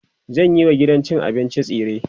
zanyi wa gidan cin abincin tsire